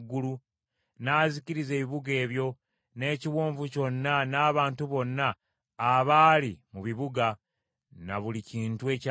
n’azikiriza ebibuga ebyo, n’ekiwonvu kyonna n’abantu bonna abaali mu bibuga, ne buli kintu ekyalimu.